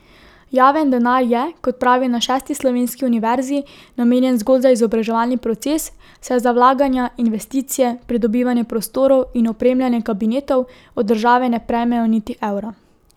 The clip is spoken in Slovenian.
Javen denar je, kot pravijo na šesti slovenski univerzi, namenjen zgolj za izobraževalni proces, saj za vlaganja, investicije, pridobivanje prostorov in opremljanje kabinetov od države ne prejmejo niti evra.